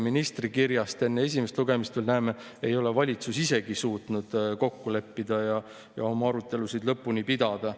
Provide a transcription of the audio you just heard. Kõik teavad, et meil on maksuvaba miinimum erinev, ja sellest tulenevalt ongi nii, et päris kõigil ei ole lõpuks maksumäär, mis nende palgalt võetakse, mitte 20%, vaid vähem palka teenivatel inimestel on see veidi alla 20%.